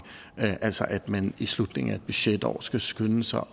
altså at man i slutningen af budgetår skal skynde sig